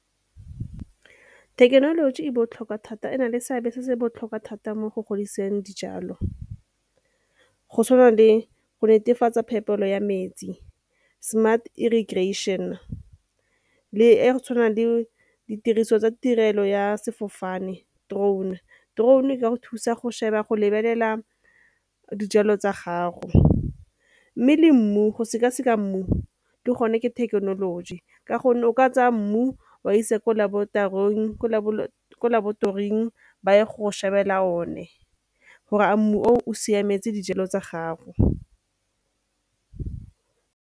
Thekenoloji e botlhokwa thata, e na le seabe se se botlhokwa thata mo go fodiseng dijalo go tshwana le go netefatsa phetolo ya metsi smart irrigation le e ee tshwanang le ditiriso tsa tirelo ya sefofane drone. Drone e ka go thusa go sheba, go lebelela dijalo tsa gago. Mme le mmu go sekaseka mmu le gone ke thekenoloji ka gonne o ka tsaya mmu o a isa ko laboratoring ba ye go shebelela one gore a mmu oo o siametse dijalo tsa gago.